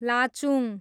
Lachung